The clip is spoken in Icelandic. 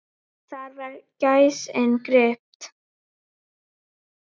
Þar var gæsin gripin.